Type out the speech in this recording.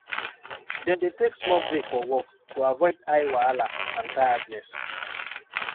dem dey take small break for work to avoid eye wahala and tiredness